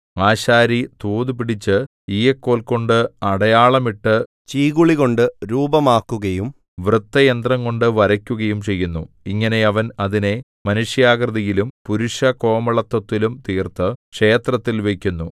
ആശാരി തോതുപിടിച്ച് ഈയക്കോൽകൊണ്ട് അടയാളമിട്ടു ചീകുളികൊണ്ടു രൂപമാക്കുകയും വൃത്തയന്ത്രംകൊണ്ടു വരയ്ക്കുകയും ചെയ്യുന്നു ഇങ്ങനെ അവൻ അതിനെ മനുഷ്യാകൃതിയിലും പുരുഷകോമളത്വത്തിലും തീർത്തു ക്ഷേത്രത്തിൽ വയ്ക്കുന്നു